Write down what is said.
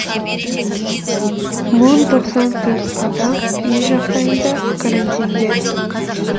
мың тоқсан төрт адам үй жағдайында карантинде